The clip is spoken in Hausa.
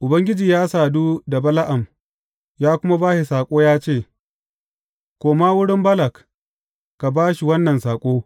Ubangiji ya sadu da Bala’am, ya kuma ba shi saƙo ya ce, Koma wurin Balak ka ba shi wannan saƙo.